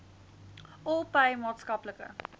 all pay maatskaplike